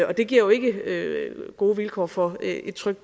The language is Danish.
og det giver jo ikke gode vilkår for et trygt